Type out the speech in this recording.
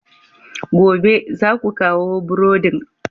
Gobe, za ku kawo burodin!